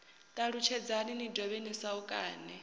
ṱalutshedzani ni dovhe ni saukanye